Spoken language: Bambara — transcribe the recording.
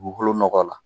Dugukolo nɔgɔ la